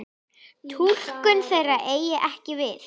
Túlkun þeirra eigi ekki við.